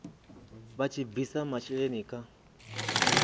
vha tshi bvisa masheleni kha